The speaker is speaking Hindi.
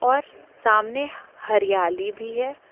और सामने हरियाली भी है।